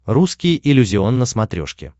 русский иллюзион на смотрешке